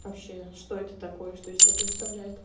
что это такое что из себя представляет